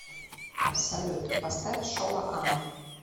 салют поставь шола ама